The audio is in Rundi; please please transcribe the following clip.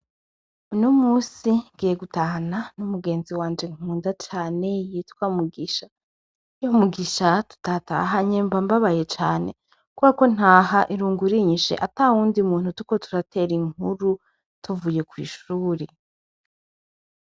Unomunsi ngiye gutahana n' umugenzi wanje nkunda cane yitwa Mugisha. Mugisha tudatahanye mbabaye cane, kuberako ntah' irungu rinyish' atawundi muntu turiko turater' inkuru tuvuye kwishuri.